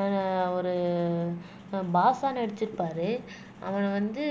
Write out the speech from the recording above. அஹ் ஒரு ஆஹ் பாஷா நடிச்சிருப்பாரு அவனை வந்து